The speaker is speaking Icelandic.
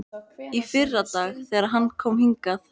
Í fyrradag, þegar hann kom hingað.